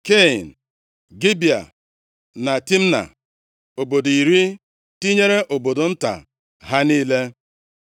Kain, Gibea na Timna, obodo iri tinyere obodo nta ha niile.